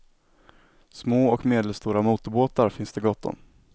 Små och medelstora motorbåtar finns det gott om.